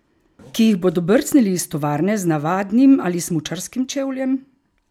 Ki jih bodo brcnili iz tovarne z navadnim ali s smučarskim čevljem?